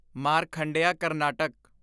ਮਾਰਖੰਡਿਆਂ Karnataka